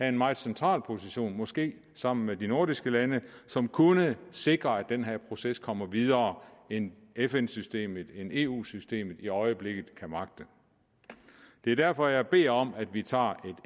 en meget central position måske sammen med de nordiske lande som kunne sikre at den her proces kommer videre end fn systemet eu systemet i øjeblikket kan magte det er derfor jeg beder om at vi tager et